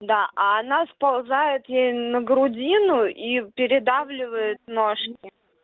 да а она сползает ей на грудину и передавливает ножки